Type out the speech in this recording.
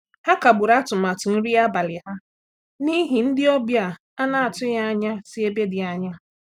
Ha kagburu atụmatụ nri abalị ha n’ihi ndị ọbịa a na-atụghị anya si ebe dị anya.